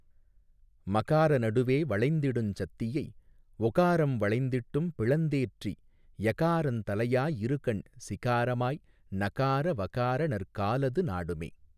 மகார நடுவே வளைந்திடுஞ் சத்தியை ஒகாரம் வளைந்திட்டும் பிளந்தேற்றி யகாரந் தலையாயிருகண் சிகாரமாய் நகார வகார நற்காலது நாடுமே.